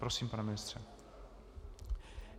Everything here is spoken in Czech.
Prosím, pane ministře.